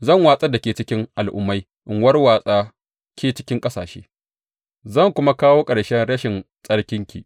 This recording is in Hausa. Zan watsar da ke cikin al’ummai in warwatsa ke cikin ƙasashe; zan kuma kawo ƙarshen rashin tsarkinki.